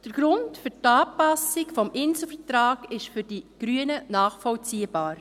Der Grund für die Anpassung des Inselvertrags ist für die Grünen nachvollziehbar.